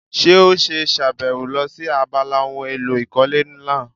Ṣé ó ṣe sàbẹ̀wò lọ sí abala ohun èlò ìkọ́lé náà?